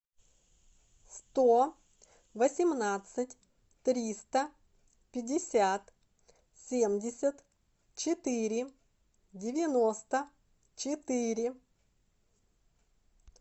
сто восемнадцать триста пятьдесят семьдесят четыре девяносто четыре